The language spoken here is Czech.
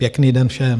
Pěkný den všem.